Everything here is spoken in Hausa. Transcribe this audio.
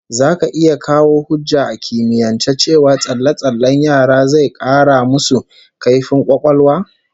Zaka iya kawo hujja a kimiyance cewa tsalle-tsallen yara zai 'kara musu kaifin kwakwalwa?